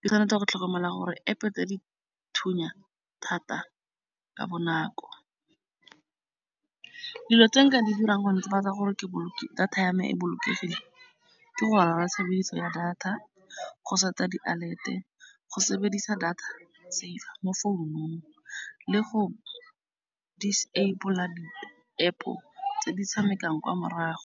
Ke tshwanetse go tlhokomela gore App-e tse di thunya thata ka bonako. Dilo tse nka di dirang go netefatsa gore data ya me e bolokegile, ke go ya data, go sort-a di-alert-e, go sebedisa data safe mo founung le go disable-a di App-o tse di tshamekang kwa morago.